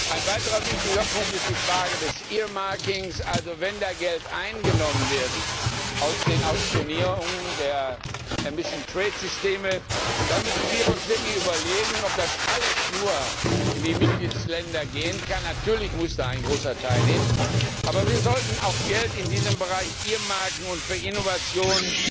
Ein weiterer wichtiger Punkt ist die Frage des earmarkings Also wenn da Geld eingenommen wird aus den Auktionierungen der emission trade Systeme, dann müssen wir uns wirklich überlegen, ob das alles nur in die Mitgliedstaaten gehen kann natürlich muss ein großer Teil da hin, aber wir sollten auch Geld in diesem Bereich earmarken und für Innovation